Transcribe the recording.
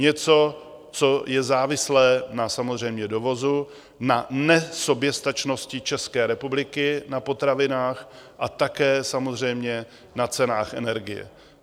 Něco, co je závislé na samozřejmě dovozu, na nesoběstačnosti České republiky na potravinách a také samozřejmě na cenách energie.